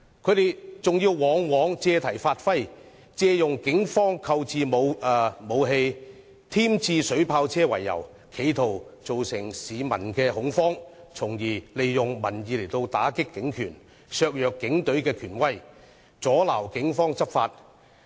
他們往往借題發揮，借警方購置武器、添置水炮車為由，企圖造成市民恐慌，從而利用民意打擊警權，削弱警隊權威，阻撓警方執法。